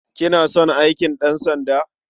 Kina son aikin ɗansanda?